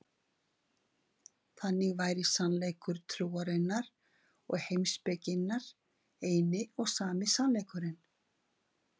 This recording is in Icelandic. Þannig væri sannleikur trúarinnar og heimspekinnar einn og sami sannleikurinn.